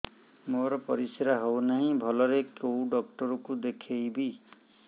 ମୋର ପରିଶ୍ରା ହଉନାହିଁ ଭଲରେ କୋଉ ଡକ୍ଟର କୁ ଦେଖେଇବି